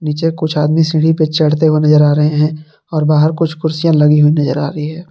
नीचे कुछ आदमी सीढ़ी पे चढ़ते हुए नजर आ रहे हैं और बाहर कुछ कुर्सियां लगी हुई नजर आ रही है।